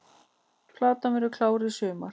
Platan verður klár í sumar